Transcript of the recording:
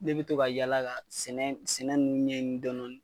Ne be to ka yaala ka sɛnɛ sɛnɛ nunnu ɲɛnin dɔni